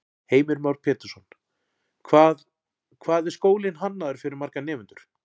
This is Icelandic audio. Heimir Már Pétursson: Hvað, hvað er skólinn hannaður fyrir marga nemendur?